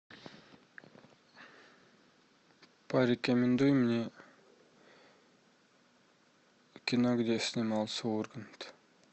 порекомендуй мне кино где снимался ургант